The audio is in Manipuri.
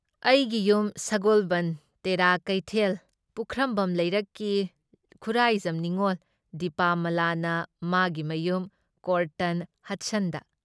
ꯑꯩꯒꯤ ꯌꯨꯝ ꯁꯒꯣꯜꯕꯟꯗ ꯇꯦꯔꯥ ꯀꯩꯊꯦꯜ ꯄꯨꯈ꯭ꯔꯝꯕꯝ ꯂꯩꯔꯛꯀꯤ ꯈꯨꯔꯥꯏꯖꯝ ꯅꯤꯡꯉꯣꯜ ꯗꯤꯄꯥꯃꯂꯥꯅ ꯃꯥꯒꯤ ꯃꯌꯨꯝ ꯀ꯭ꯔꯣꯇꯟ ꯍꯗꯁꯟꯗ